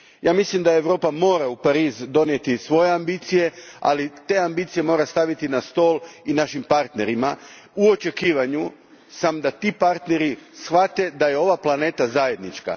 Ja mislim da Europa mora donijeti u Pariz svoje ambicije, ali te ambicije mora staviti na stol i našim partnerima, u očekivanju samo da ti partneri shvate da je ova planeta zajednička.